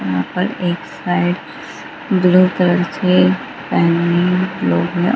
यहाँ पर एक साइड ब्लू कलर से फॅमिली लोग हैं ।